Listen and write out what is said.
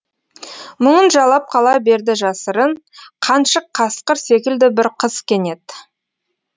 мұңын жалап қала берді жасырын қаншық қасқыр секілді бір қыз кенет